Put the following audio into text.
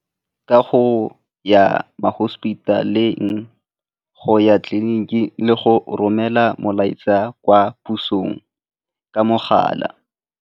Ka go ya ma-hospital-eng, go ya tleliniking le go romela molaetsa kwa pusong ka mogala.